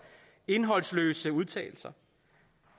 indholdsløse udtalelser